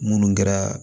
Munnu kɛra